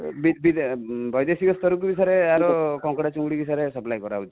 ବୈଦେଶିକ ସ୍ତରକୁ ବି ସାର ୟାର କଙ୍କଡା ଚିଙ୍ଗୁଡ଼ି sir supply କରା ହଉଛି|